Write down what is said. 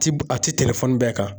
Ti a ti telefɔni bɛɛ kan